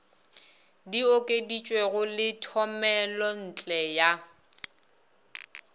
di okeditšwego le thomelontle ya